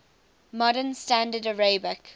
modern standard arabic